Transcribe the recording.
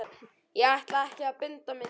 Ég ætla ekki að binda mig neitt.